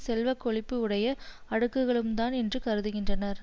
செல்வ கொழிப்பு உடைய அடுக்குகளும் தான் என்றும் கருதுகின்றனர்